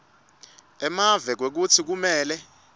emave kwekutsi kumele